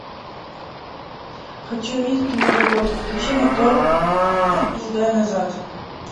хочу увидеть киноработу включи мотор и сдай назад